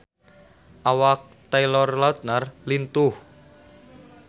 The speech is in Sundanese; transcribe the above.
Awak Taylor Lautner lintuh